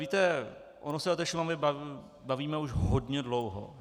Víte, ono se o té Šumavě bavíme už hodně dlouho.